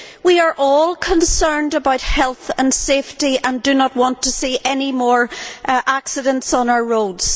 We are all concerned about health and safety and do not want to see any more accidents on our roads.